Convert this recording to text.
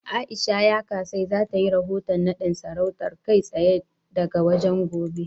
A'isha Yakasai za ta yi rahoton naɗin sarautar, kai tsaye daga wajen, gobe.